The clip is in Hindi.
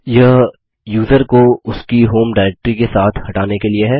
यह यूज़र को उसकी होम डायरेक्ट्री के साथ हटाने के लिए है